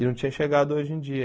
E não tinha chegado hoje em dia.